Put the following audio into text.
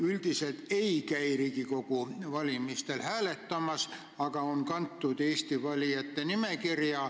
Üldiselt ei käi nad Riigikogu valimistel hääletamas, aga on kantud Eesti valijate nimekirja.